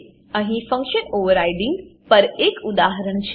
અહીં function overriding પર એક ઉદાહરણ છે